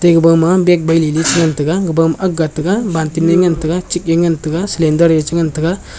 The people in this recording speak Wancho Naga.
eba ma bage ban ni chi ngan taiga abu ma agngan tega banting new ngan tega chik nyu ngan tega salender yechi ngan tega.